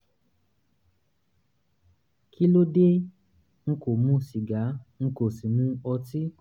kí ló dé? n kò mu sìgá n n kò sì mu ọtí